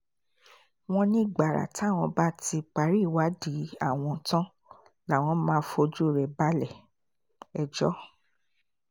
wọ́n ní gbàrà táwọn bá ti parí ìwádìí àwọn tán làwọn máa fojú rẹ̀ balẹ̀-ẹjọ́